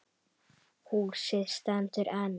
Húsið stendur enn.